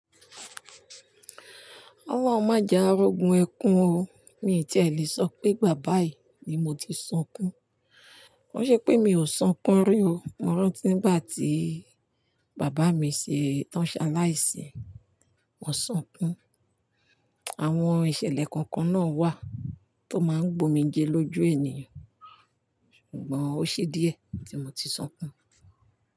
Olorun má jẹ a rógun ẹkùn o, mi ò tí è lè sọ pé ìgbà báyìí ni mo ti sunkún. KÓ n ṣe pé mi ò sun kún rí o, mo rántí nígbà tí bàbá mi ṣe tán ṣaláìsí, mo sun kún. Àwọn ìṣẹ̀lẹ̀ kọ̀ọ̀kan náà wà tó máa ń gbomi jẹ lójú ènìyàn, ṣùgbọ́n ó ṣe díẹ̀ tí mo ti sun kún.